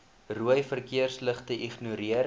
rooi verkeersligte ignoreer